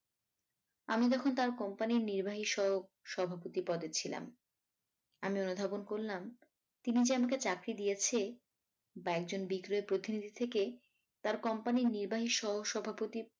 আমি তখন তার company র নির্বাহি সহ সভাপতি পদে ছিলাম আমি অনুধাবন করলাম তিনি যে আমাকে চাকরি দিয়েছে বা একজন বিক্রয় প্রতিনিধি থেকে তার company র নির্বাহি সহ সভাপতি